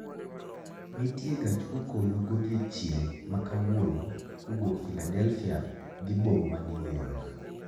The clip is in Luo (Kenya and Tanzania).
Nitie gach okolo godiechieng' ma kawuono kowuok filadelfia dhi boma ma new york